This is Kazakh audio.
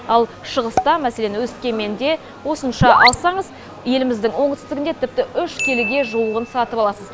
ал шығыста мәселен өскеменде осынша алсаңыз еліміздің оңтүстігінде тіпті үш келіге жуығын сатып аласыз